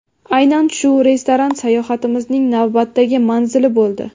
Aynan shu restoran sayohatimizning navbatdagi manzili bo‘ldi.